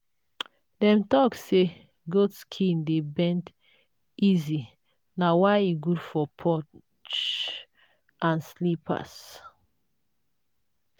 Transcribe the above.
dem talk say goat skin dey bend easy na why e good for porch and slippers.